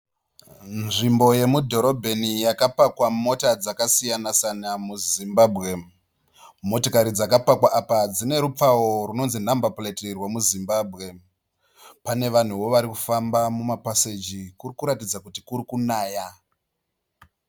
Nzvimbo yomudhorobheni yakapakwa mota dzakasiyan -siyana muZimbabwe. Motikari dzakapakwa apa dzine rupawo runonzi nhamba pureti rwemuZimbabwe. Pane vanhuwo vari kufamba mumapaseji kuri kuratidza kuti kuri kunaya.